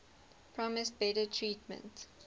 promised better treatment